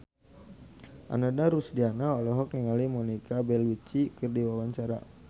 Ananda Rusdiana olohok ningali Monica Belluci keur diwawancara